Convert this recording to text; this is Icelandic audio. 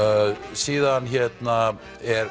síðan er